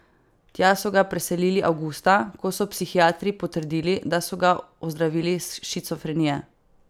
Tja so ga preselili avgusta, ko so psihiatri potrdili, da so ga ozdravili shizofrenije.